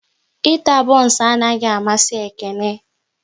Ịta bons anaghị amasi Ekene